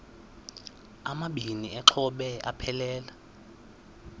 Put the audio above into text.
amabini exhobe aphelela